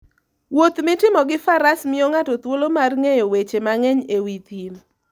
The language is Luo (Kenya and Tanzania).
Wuoth mitimo gi Faras miyo ng'ato thuolo mar ng'eyo weche mang'eny e wi thim.